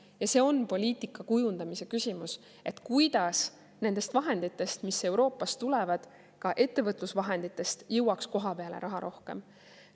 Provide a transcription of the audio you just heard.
Ja see on poliitika kujundamise küsimus, et kuidas nendest vahenditest, mis Euroopast tulevad, ka ettevõtlusvahenditest, jõuaks kohapeale raha rohkem.